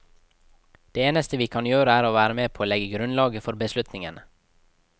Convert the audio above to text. Det eneste vi kan gjøre er å være med på å legge grunnlaget for beslutningene.